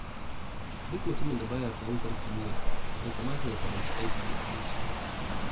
Duk mutumin da ba ya fahimtar kimiyya, bai kamata ya karanci aikin likitanci ba.